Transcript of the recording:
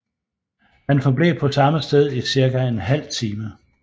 Han forblev på samme sted i cirka en halv time